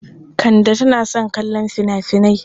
Kande tana son kallon fina-finai.